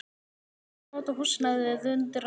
Hann þyrfti að nota húsnæðið undir annað.